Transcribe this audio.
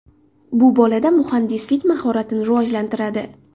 Bu bolada muhandislik mahoratini rivojlantiradi.